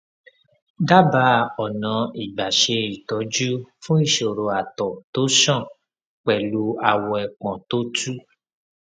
dábàá ọnà ìgbà ṣe ìtọjú fún ìṣòro àtọ tó ṣàn pẹlú awọ ẹpọn tó tú